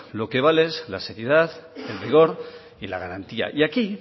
lo que vale es la seriedad el rigor y la garantía y aquí